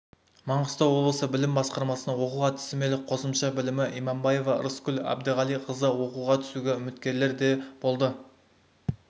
маңғыстау облысы білім басқармасының оқу-әдістемелік қосымша білімі имамбаева ырысгүл әбдіғалиқызы оқуға түсуге үміткерлер де болды